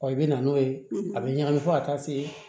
i bɛ na n'o ye a bɛ ɲagami fo ka taa se